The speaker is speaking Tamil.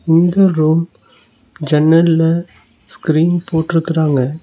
இந்த ரூம் ஜன்னல்ல ஸ்க்ரீன் போட்ருக்றாங்க.